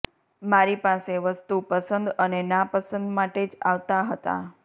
મારી પાસે વસ્તુ પસંદ અને ના પસંદ માટે જ આવતા હતા